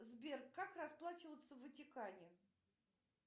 сбер как расплачиваться в ватикане